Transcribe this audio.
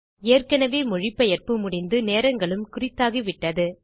ஏற்கெனவே மொழிபெயர்ப்பு முடிந்து நேரங்களும் குறித்தாகிவிட்டது